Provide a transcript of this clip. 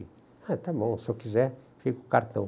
Ah, está bom, se eu quiser, fica o cartão.